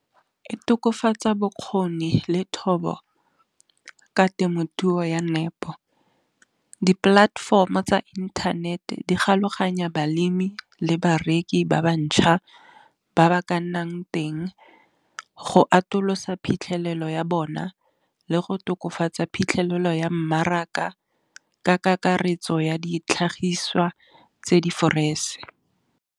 E tokafatsa bokgoni le thobo ka temothuo ya nepo. Di-platform-o tsa inthanete di galoganya balemi le bareki ba bantšhwa, ba ba ka nnang teng. Go atolosa phitlhelelo ya bona le go tokafatsa phitlhelelo ya mmaraka, ka kakaretso ya ditlhagiswa tse di fresh.